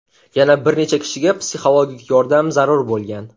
Yana bir necha kishiga psixologik yordam zarur bo‘lgan.